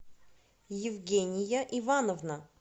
евгения ивановна